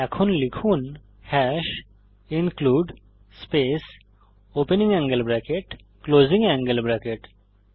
এখন লিখুন hash include space opening angle bracket closing angle bracket